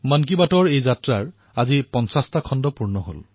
মন কী বাত এই যাত্ৰাৰ আজি ৫০তম খণ্ড সম্পূৰ্ণ হৈছে